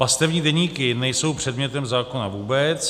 Pastevní deníky nejsou předmětem zákona vůbec.